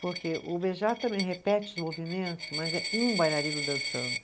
Porque o Béjart também repete os movimentos, mas é um bailarino dançando.